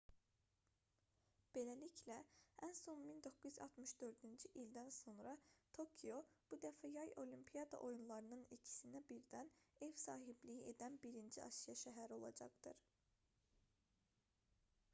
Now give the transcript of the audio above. beləliklə ən son 1964-cü ildən sonra tokio bu dəfə yay olimpiada oyunlarının ikisinə birdən ev sahibliyi edən birinci asiya şəhəri olacaqdır